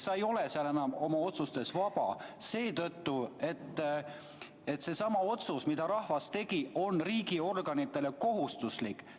Sa ei ole siin oma otsustes enam vaba, sest seesama otsus, mille rahvas tegi, on riigiorganitele kohustuslik.